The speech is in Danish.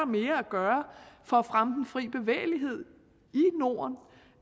mere at gøre for at fremme den fri bevægelighed